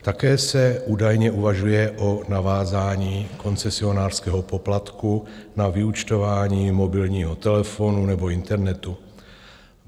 Také se údajně uvažuje o navázání koncesionářského poplatku na vyúčtování mobilního telefonu nebo internetu.